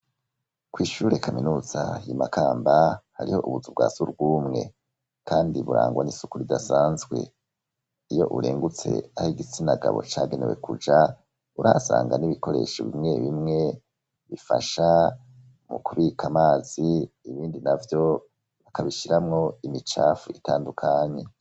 kw’ishure kaminuza ry'imakamba hariho ubuzu bwa sugwumwe kandi burangwa n'isuku ridasanzwe iyo urengutse aho igitsinagabo cagenewe kuja urasanga n'ibikoresho bimwe bimwe bifasha mu kubika amazi ibindi navyo bakabishyiramwo imicafu itandukanye.